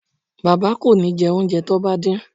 Bàbá kò ní jẹ oúnjẹ tán bá dín